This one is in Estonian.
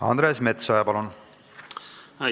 Andres Metsoja, palun!